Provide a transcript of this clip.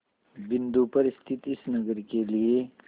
बिंदु पर स्थित इस नगर के लिए